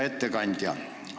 Hea ettekandja!